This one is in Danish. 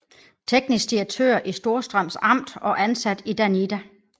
Teknisk Direktør i Storstrøms Amt og ansat i DANIDA